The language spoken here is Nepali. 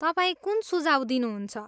तपाईँ कुन सुझाव दिनुहुन्छ?